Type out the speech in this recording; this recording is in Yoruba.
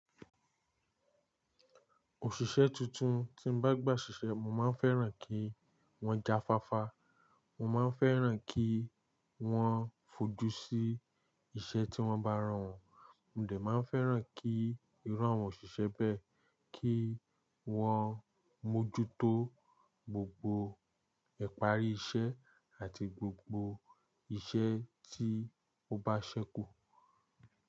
Òṣìṣẹ́ tuntun tí n bá gbà ṣiṣẹ́, mo máa ń fẹ́ràn kí wọ́n já fáfá, mo má ń fẹ́ràn kí wọ́n fojú sí iṣẹ́ tí wọ́n bá rànwọ́, mo de maá ń fẹ́ràn kí irú àwọn òṣìṣẹ́ bẹ́ẹ̀ kí wọ́n mójútó gbogbo ìparí iṣẹ́ àti gbogbo iṣẹ́ tí ó bá ṣẹ́kù.